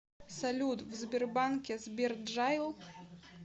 салют в сбербанке сберджайл